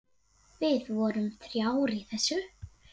Við vorum þrjár í þessu.